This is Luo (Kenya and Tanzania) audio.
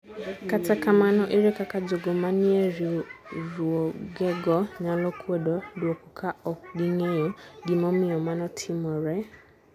Kata kamano, ere kaka jogo manie riwruogego nyalo kwedo dwuoko ka ok ging'eyo gimomiyo mano timore?